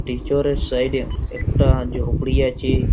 টিচরের side -এ একটা ঝুপড়ি আছে।